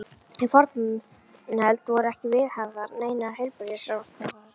Í fornöld voru ekki viðhafðar neinar heilbrigðisráðstafanir.